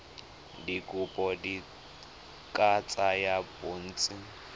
dikopo di ka tsaya bontsi